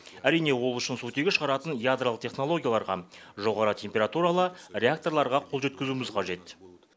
әрине ол үшін сутегі шығаратын ядролық технологияларға жоғары температуралы реакторларға қол жеткізуіміз қажет